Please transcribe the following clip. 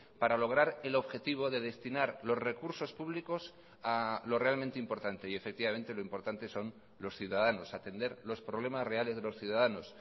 para lograr el objetivo de destinar los recursos públicos a lo realmente importante y efectivamente lo importante son los ciudadanos atender los problemas reales de los ciudadanos